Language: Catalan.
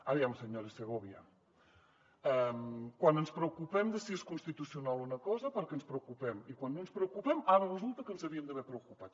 aviam senyora segòvia quan ens preocupem de si és constitucional una cosa perquè ens preocupem i quan no ens preocupem ara resulta que ens havíem d’haver preocupat